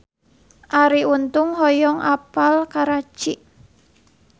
Arie Untung hoyong apal Karachi